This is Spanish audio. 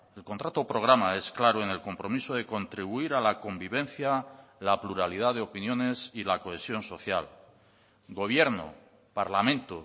el contrato programa es claro en el compromiso de contribuir a la convivencia la pluralidad de opiniones y la cohesión social gobierno parlamento